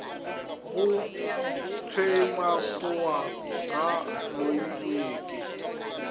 go thwemakgowa ga a loiweke